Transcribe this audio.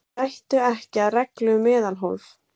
Gættu ekki að reglu um meðalhóf